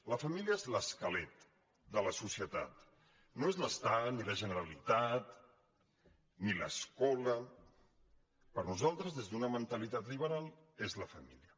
la família és l’esquelet de la socie tat no és l’estat ni la generalitat ni l’escola per nosaltres des d’una mentalitat liberal és la família